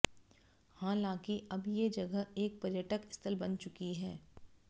हालांकि अब ये जगह एक पर्यटक स्थल बन चुकी है